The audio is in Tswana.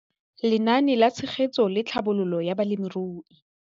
Lenaane la Tshegetso le Tlhabololo ya Balemirui